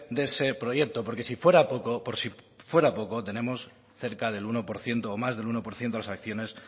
de ese proyecto porque por si fuera poco tenemos cerca del uno por ciento o más del uno por ciento de las acciones